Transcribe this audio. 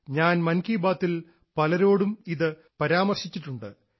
ഞാൻ മൻ കി ബാത്തിൽ പലരോടും ഇത് പരാമർശിച്ചിട്ടുണ്ട്